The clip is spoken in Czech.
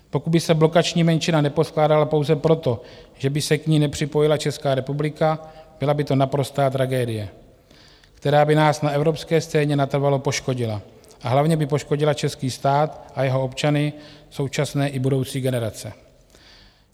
Pokud by se blokační menšina neposkládala pouze proto, že by se k ní nepřipojila Česká republika, byla by to naprostá tragédie, která by nás na evropské scéně natrvalo poškodila a hlavně by poškodila český stát a jeho občany, současné i budoucí generace.